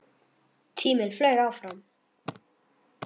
Tíminn flaug áfram.